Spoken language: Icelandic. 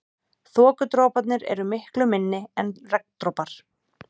Þokudroparnir eru miklu minni en regndropar.